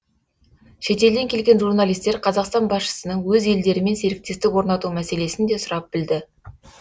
шетелден келген журналистер қазақстан басшысының өз елдерімен серіктестік орнату мәселесін де сұрап білді